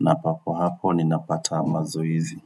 Na papo hapo, ninapata mazoezi.